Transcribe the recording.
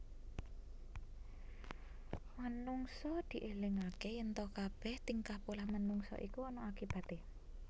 Manungsa dielingaké yènta kabèh tingkah polah manungsa iku ana akibaté